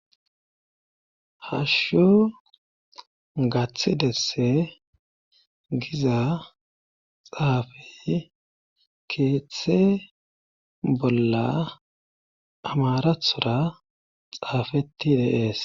Hashsho gaththidesse giza xaafey keeththe bolla amarathora xaafeti deees.